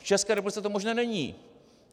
V České republice to možné není!